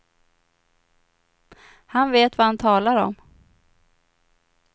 Han vet vad han talar om.